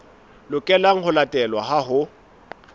lokelang ho latelwa ha ho